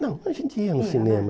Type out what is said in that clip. Não, a gente ia no cinema. Ia né